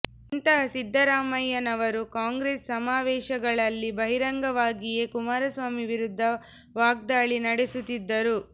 ಇಂತಹ ಸಿದ್ದರಾಮಯ್ಯನವರು ಕಾಂಗ್ರೆಸ್ ಸಮಾವೇಶಗಳಲ್ಲಿ ಬಹಿರಂಗವಾಗಿಯೇ ಕುಮಾರಸ್ವಾಮಿ ವಿರುದ್ಧ ವಾಗ್ದಾಳಿ ನಡೆಸುತ್ತಿದ್ದರು